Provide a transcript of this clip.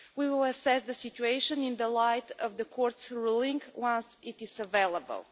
We will assess the situation in the light of the Court's ruling once it is available.